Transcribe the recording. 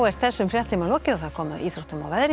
þessum fréttatíma er lokið og komið að íþróttum og veðri